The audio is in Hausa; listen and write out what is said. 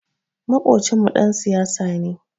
Maƙocinmu ɗan siyasa ne.